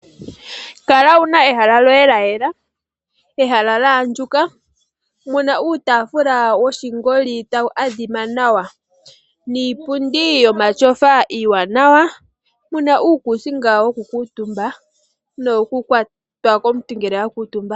Kala wuna ehala lyoye lya yela. ehala lya andjuka muna uutaafula woshingoli tawu adhima nawa niipundi yomatyofa iiwanawa muna uukuusinga wo kuutumba no wo kukwatwa komuntu ngele a kuutumba